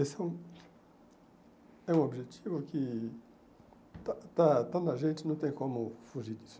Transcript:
Esse é um é um objetivo que está está está na gente não tem como fugir disso.